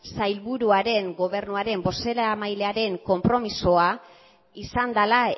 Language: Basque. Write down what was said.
sailburuaren gobernuaren bozeramailearen konpromisoa izan dela